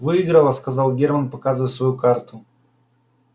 выиграла сказал германн показывая свою карту